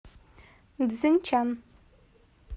цзиньчан